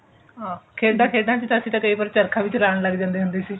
ਹਾਂ ਖੇਡਾਂ ਖੇਡਣ ਚ ਅਸੀਂ ਕਈ ਵਾਰ ਚਰਖਾ ਵੀ ਚਲਾਨ ਲਗ ਜਾਂਦੇ ਹੁੰਦੇ ਸੀ